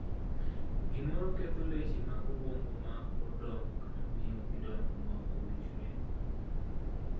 Gimro ketho leche mag obwongo ma pod dongo kata miyo gidongo ma ok owinjore.